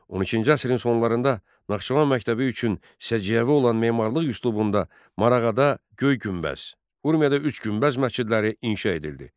12-ci əsrin sonlarında Naxçıvan məktəbi üçün səciyyəvi olan memarlıq üslubunda Marağada Göy günbəz, Urmiyada üç günbəz məscidləri inşa edildi.